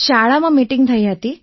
શાળામાં મીટિંગ થઈ રહી હતી